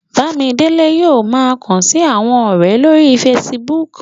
Bámidélé yóò ma kàn sí àwọn ọ̀rẹ̀ lórí Facebook